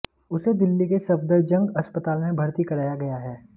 उसे दिल्ली के सफदरजंग अस्पताल में भर्ती कराया गया है